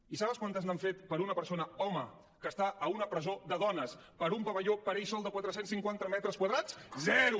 i saben quantes n’han fet per una persona home que està a una presó de dones amb un pavelló per a ell sol de quatre cents i cinquanta metres quadrats zero